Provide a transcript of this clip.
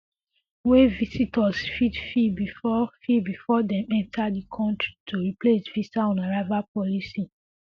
wey visitors fit fill bifor fill bifor dem enta di kontri to replace visa on arrival policy